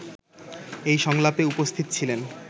এই সংলাপে উপস্থিত ছিলেন